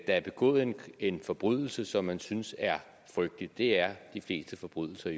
er begået en en forbrydelse som man synes er frygtelig det er de fleste forbrydelser